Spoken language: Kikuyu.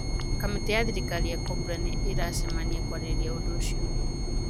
Kamĩtĩ ya thirikari ya Cobra nĩ ĩracemania kwarĩrĩria ũndũ ũcio